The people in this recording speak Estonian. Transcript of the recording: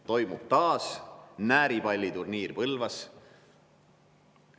– toimub taas Nääripalli turniir Põlvas.